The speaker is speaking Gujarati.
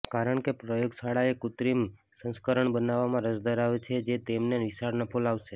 કારણ કે પ્રયોગશાળાઓ કૃત્રિમ સંસ્કરણ બનાવવામાં રસ ધરાવે છે જે તેમને વિશાળ નફો લાવશે